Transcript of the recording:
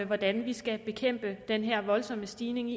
hvordan vi skal bekæmpe den her voldsomme stigning